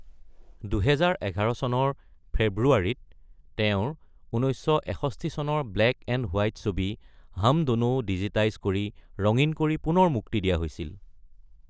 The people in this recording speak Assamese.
২০১১ চনৰ ফেব্ৰুৱাৰীত তেওঁৰ ১৯৬১ চনৰ ব্লেক এণ্ড হোৱাইট ছবি হাম ড’নো ডিজিটাইজ কৰি ৰঙীন কৰি পুনৰ মুক্তি দিয়া হৈছিল।